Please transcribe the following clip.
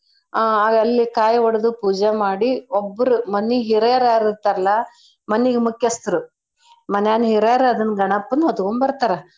ಆ ಅಲ್ಲಿ ಕಾಯ್ ಒಡ್ದ್ ಪೂಜೆ ಮಾಡಿ ಒಬ್ಬರ್ ಮನೀ ಹಿರಿಯರ್ ಯಾರಿರ್ತಾರಲಾ ಮನೀಗ್ ಮುಖ್ಯಸ್ತ್ರು ಮನ್ಯಾನ್ ಹಿರಿಯರ್ ಅದನ್ ಗಣಪನ್ ಹೊತ್ಕೊಂಡ್ ಬರ್ತಾರ.